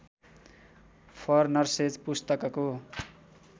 for nurses पुस्तकको